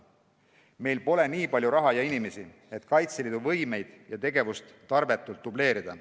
Meil pole nii palju raha ja inimesi, et Kaitseliidu võimeid ja tegevust tarbetult dubleerida.